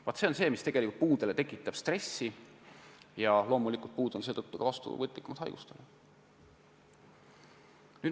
Vaat see on see, mis tegelikult puudele stressi tekitab, ja loomulikult on puud seetõttu ka haigustele vastuvõtlikumad.